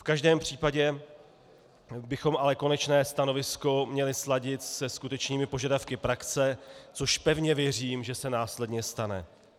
V každém případě bychom ale konečné stanovisko měli sladit se skutečnými požadavky praxe, což pevně věřím, že se následně stane.